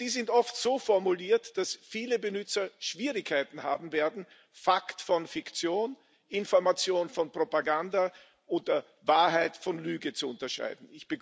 Und die sind oft so formuliert, dass viele Benutzer Schwierigkeiten haben werden, Fakten von Fiktion, Informationen von Propaganda oder Wahrheit von Lüge zu unterscheiden.